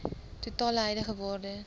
totale huidige waarde